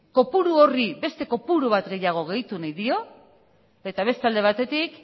kopuru horri beste kopuru bat gehiago gehitu nahi dio eta beste alde batetik